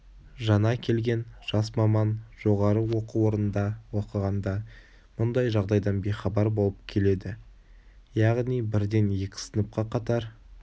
жаңа келген жас маман жоғары оқу орнында оқығанда мұндай жағдайдан бейхабар болып келеді яғни бірден екі сыныпқа қатар